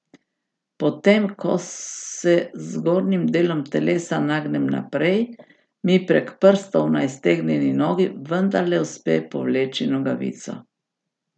Potem ko se z zgornjim delom telesa nagnem naprej, mi prek prstov na iztegnjeni nogi vendarle uspe povleči nogavico.